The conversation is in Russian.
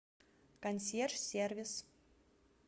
консьерж сервис